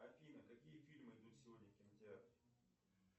афина какие фильмы идут сегодня в кинотеатре